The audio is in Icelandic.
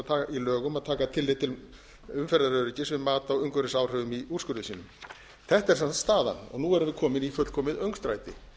lögum að taka tillit til umferðaröryggis við mat á umhverfisáhrifum í úrskurði sínum þetta er sem sagt staðan og nú erum við komin í fullkomið öngstræti